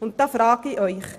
Ich frage Sie: